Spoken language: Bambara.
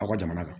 Aw ka jamana kan